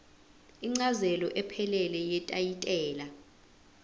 incazelo ephelele yetayitela